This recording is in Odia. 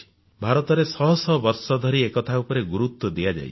ଭାରତରେ ଶହ ଶହ ବର୍ଷ ଧରି ଏ କଥା ଉପରେ ଗୁରୁତ୍ୱ ଦିଆଯାଇଛି